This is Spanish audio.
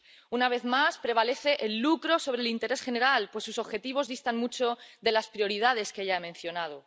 Una vez más, prevalece el lucro sobre el interés general, pues sus objetivos distan mucho de las prioridades que ya he mencionado.